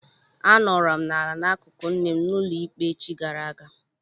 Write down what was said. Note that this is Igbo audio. A nọrọ m ala n'akụkụ nne m n'ụlọ ikpe echi gara aga.